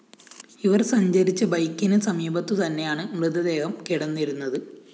ഇവര്‍ സഞ്ചരിച്ച ബൈക്കിന് സമീപത്തു തന്നെയാണ് മൃതദേഹം കിടന്നിരുന്നത്